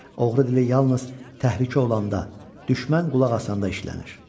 Oğru dili yalnız təhlükə olanda, düşmən qulaq asanda işlənir.